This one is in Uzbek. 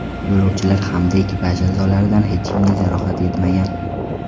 Yo‘lovchilar hamda ekipaj a’zolaridan hech kimga jarohat yetmagan.